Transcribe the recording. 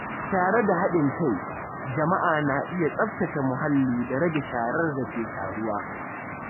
Tare da haɗin kai, jama’a na iya tsaftace muhalli da rage sharar da ke taruwa.